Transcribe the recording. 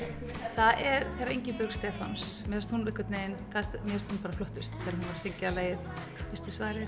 það er þegar Ingibjörg Stefáns mér finnst hún einhvern veginn bara flottust þegar hún söng lagið veistu svarið